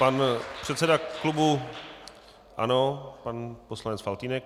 Pan předseda klubu ANO pan poslanec Faltýnek.